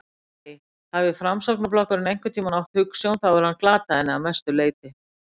Nei, hafi Framsóknarflokkurinn einhvern tíma átt hugsjón þá hefur hann glatað henni að mestu leyti.